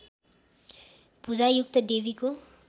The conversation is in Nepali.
भूजायुक्त देवीको